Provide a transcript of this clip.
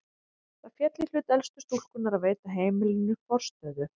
Það féll í hlut elstu stúlkunnar að veita heimilinu forstöðu.